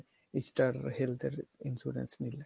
Easter Health এর insurance নিলে